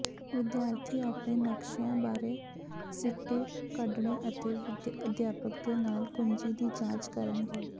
ਵਿਦਿਆਰਥੀ ਆਪਣੇ ਨਕਸ਼ਿਆਂ ਬਾਰੇ ਸਿੱਟੇ ਕੱਢਣਗੇ ਅਤੇ ਅਧਿਆਪਕ ਦੇ ਨਾਲ ਕੁੰਜੀ ਦੀ ਜਾਂਚ ਕਰਨਗੇ